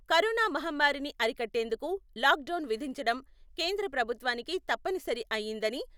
corona మహమ్మారిని అరికట్టేందుకు lockdown విధించడం కేంద్ర ప్రభుత్వానికి తప్పనిసరి అయిందని...